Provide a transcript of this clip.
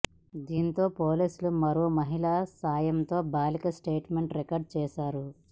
దీంతో పోలీసులు మరో మహిళ సాయంతో బాలిక స్టేట్మెంట్ రికార్డ్ చేశారు